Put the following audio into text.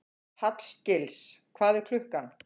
Hallgils, hvað er klukkan?